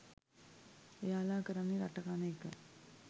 එයාලා කරන්නේ රට කන එක?